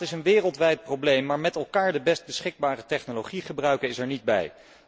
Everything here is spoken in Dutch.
Het klimaat is een wereldwijd probleem, maar met elkaar de best beschikbare technologie gebruiken, is er niet bij.